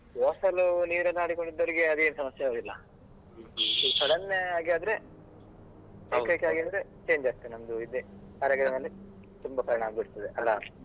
Hostel ನೀರಲ್ಲಿ ಆಡಿಕೊಂಡು ಇದ್ದವ್ರಿಗೆ ಅದೇನು ಸಮಸ್ಯೆ ಆಗುದಿಲ್ಲ sudden ಆಗಿ ಆದ್ರೆ change ಆಗ್ತದೆ ನಮ್ದು ಇದೇ ಆರೋಗ್ಯದ ಮೇಲೆ ತುಂಬಾ ಪರಿಣಾಮ ಬೀಳ್ತದೆ ಅಲಾ.